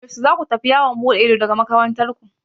Yaushe za ku tafi yawon buɗe ido daga makarantar ku?